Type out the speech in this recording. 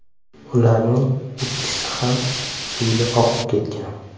Ularning ikkisi ham suvda oqib ketgan.